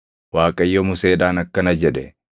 Waaqayyo Museedhaan akkana jedhe;